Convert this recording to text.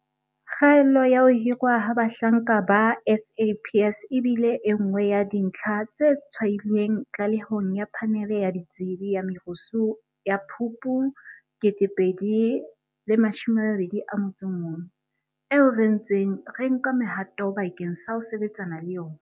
Kgaello ya ho hirwa ha bahlanka ba SAPS e bile e nngwe ya dintlha tse tshwailweng tlalehong ya Phanele ya Ditsebi ya Merusu ya Phupu 2021, eo re ntseng re nka mehato bakeng sa ho sebetsana le yona.